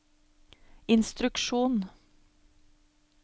instruksjon